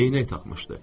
Eynək taxmışdı.